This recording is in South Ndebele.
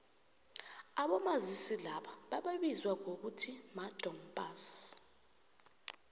abomazisi laba bebaziwa ngokuthi madom pass